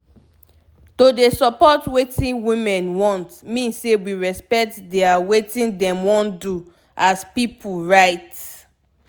to dey support wetin women want mean say we respect dia wetin dem wan do as pipu right